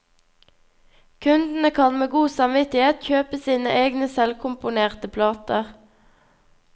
Kundene kan med god samvittighet kjøpe sine egne selvkomponerte plater.